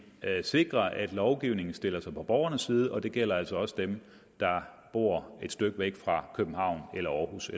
at sikre at lovgivningen stiller sig på borgernes side og det gælder altså også dem der bor et stykke væk fra københavn aarhus